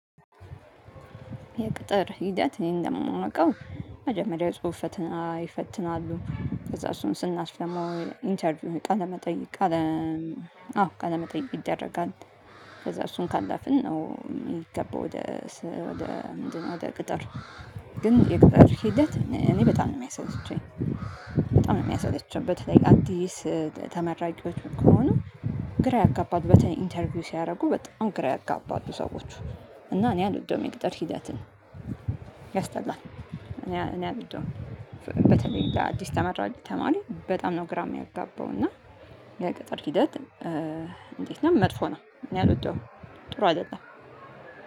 የቅጥር ሂደት እኔ እንደማውቀው መጀመሪያ ጽሁፈት ይፈትናሉ። ከዛ እሱን ስናልፍ ደግሞ ኢንተርቪው ቃለመጠይቅ። አዎ ቃለመጠይቅ ይደረጋል። ከዛ እሱን ካላፍን ነው የሚገባው። ወደ ምንድነው? ወደ ቅጠር። ግን የቅጠር ሂደት እኔ በጣም ነው የሚያሰለቸኝ። በጣም ነው የሚያሳድጃበት ላይክ አዲስ ተመራጊዎች ከሆኑ። ግራ ያጋባት በተኔ ኢንተርቪው ሲያደርጉ በጣም ግራ ያጋባቱ ሰዎች። እና እኔ አልወደውም የሚቅጠር ሂደትን። ያስጠላል እኔ አልወደውም። በተለይ ለአዲስ ተመራሪ ተማሪ በጣም ነው ግራ የሚያጋባው እና። የቅጥር ሂደት። እንዴት? ነው መጥፎ ነው እኔ አልወደውም ጥሩ አይደለም